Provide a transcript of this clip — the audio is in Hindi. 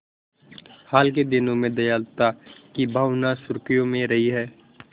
हाल के दिनों में दयालुता की भावना सुर्खियों में रही है